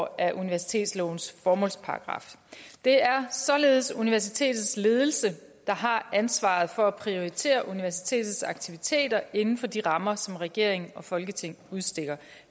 af universitetslovens formålsparagraf det er således universitetets ledelse der har ansvaret for at prioritere universitetets aktiviteter inden for de rammer som regering og folketing udstikker